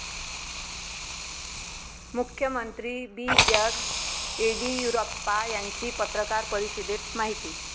मुख्यमंत्री बी. एस. येडियुराप्पा यांची पत्रकार परिषदेत माहिती